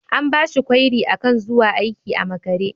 An bashi kwairi akan zuwa aiki a makare.